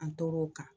An tor'o kan